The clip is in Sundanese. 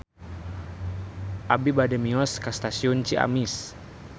Abi bade mios ka Stasiun Ciamis